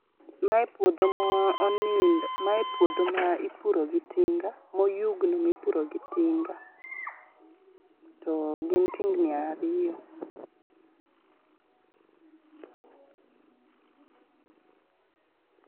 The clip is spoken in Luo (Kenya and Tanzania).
Mae puodho ma onindo, mae puodho ma ipuro gi tinga moyugno mipuro gi tinga to gin tingni ariyo.